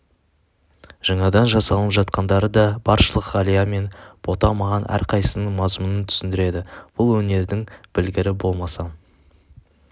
жаңадан жасалынып жатқандары да баршылық ғалия мен бота маған әрқайсысының мазмұнын түсіндіреді бұл өнердің білгірі болмасам